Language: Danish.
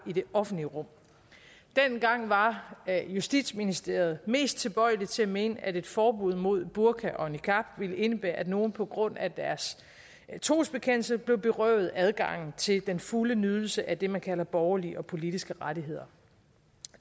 i det offentlige rum dengang var justitsministeriet mest tilbøjelig til at mene at et forbud mod burka og niqab ville indebære at nogle på grund af deres trosbekendelse blev berøvet adgangen til den fulde nydelse af det man kalder borgerlige og politiske rettigheder